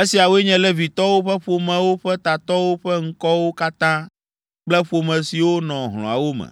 Esiawoe nye Levitɔwo ƒe ƒomewo ƒe tatɔwo ƒe ŋkɔwo katã kple ƒome siwo nɔ hlɔ̃awo me.